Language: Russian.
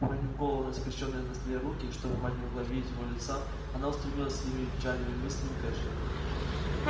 уронив голову на скрещённые на столе руки чтобы мать не могла видеть её лица она устремилась своими печальными мыслями к эшли